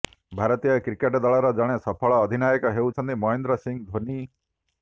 ଭାରତୀୟ କ୍ରିକେଟ ଦଳର ଜଣେ ସଫଳ ଅଧିନାୟକ ହେଉଛନ୍ତି ମହେନ୍ଦ୍ର ସିଂ ଧୋନୀ